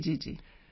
ਜੀ